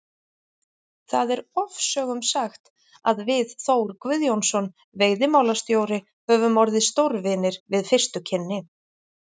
Það er ofsögum sagt að við Þór Guðjónsson veiðimálastjóri höfum orðið stórvinir við fyrstu kynni.